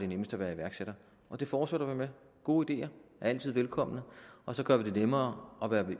nemmest at være iværksætter og det fortsætter vi med gode ideer er altid velkomne og så gør vi det nemmere at være